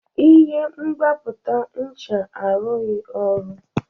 Ihe mgbapụta ncha arụghị ọrụ.